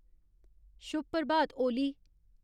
शुभ प्रभात ओली